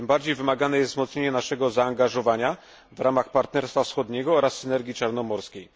Tym bardziej wymagane jest wzmocnienie naszego zaangażowania w ramach Partnerstwa Wschodniego oraz Synergii Czarnomorskiej.